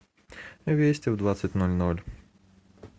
вести в двадцать ноль ноль